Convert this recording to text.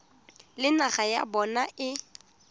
le naga ya bona e